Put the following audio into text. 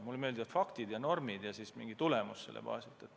Mulle meeldivad faktid ja normid ja mingid tulemused nende baasilt.